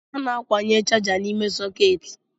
A na-akwunye chaja n’ime sọketi